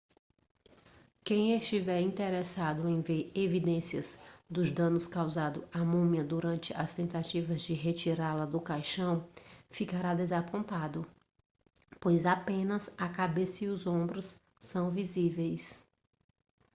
quem estiver interessado em ver evidências dos danos causados à múmia durante as tentativas de retirá-la do caixão ficará desapontado pois apenas a cabeça e os ombros são visíveis